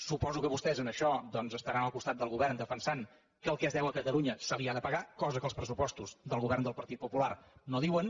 suposo que vostès en això doncs estaran al costat del govern defensant que el que es deu a catalunya se li ha de pagar cosa que els pressupostos del govern del partit popular no diuen